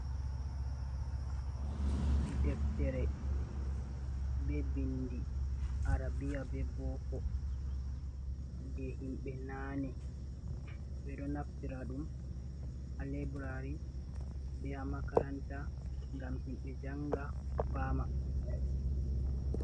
Deftere be bindi arabia be boko je himɓɓe nane ɓe ɗo naftira ɗum ha libraris be ha makaranta gam himɓɓe janga fama.